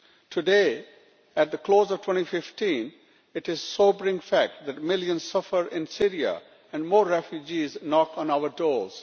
Today, at the close of 2015, it is a sobering fact that millions suffer in Syria and more refugees knock on our doors.